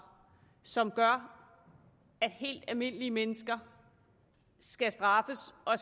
som gør at helt almindelige mennesker skal straffes og